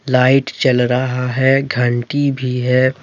Light चल रहा है घंटी भी है।